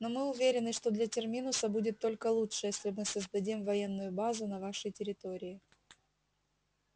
но мы уверены что для терминуса будет только лучше если мы создадим военную базу на вашей территории